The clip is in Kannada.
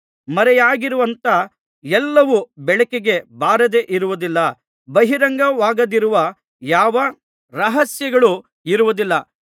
ಮರೆಯಾಗಿರುವಂಥ ಎಲ್ಲವೂ ಬೆಳಕಿಗೆ ಬಾರದೇ ಇರುವುದಿಲ್ಲ ಬಹಿರಂಗವಾಗದಿರುವ ಯಾವ ರಹಸ್ಯಗಳು ಇರುವುದಿಲ್ಲ